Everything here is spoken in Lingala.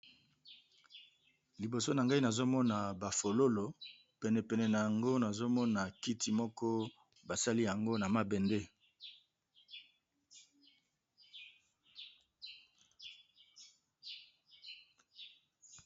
Liboso Nagai nazomona ba fololo penepene Nango namona kiti mokobasali yango namambende